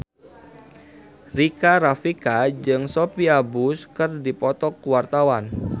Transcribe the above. Rika Rafika jeung Sophia Bush keur dipoto ku wartawan